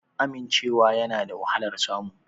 Amincewa yana da wahalar samu